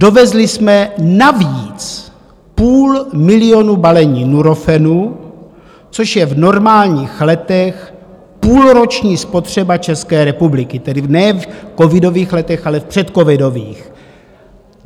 Dovezli jsme navíc půl milionu balení Nurofenu, což je v normálních letech půlroční spotřeba České republiky, tedy ne v covidových letech, ale v předcovidových.